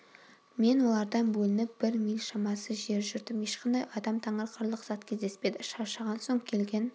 мен олардан бөлініп бір миль шамасы жер жүрдім ешқандай адам таңырқарлық зат кездеспеді шаршаған соң келген